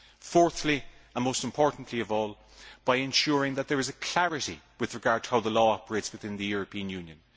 Fourthly, and most importantly of all, by ensuring that there is clarity with regard to how the law operates within the European Union.